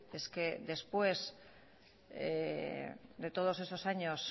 es que después de todos esos años